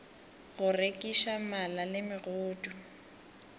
go rekiša mala le megodu